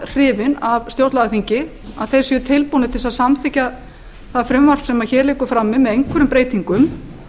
hrifinn af stjórnlagaþingi að þeir séu tilbúnir til að samþykkja það frumvarp sem hér liggur frammi með einhverjum breytingum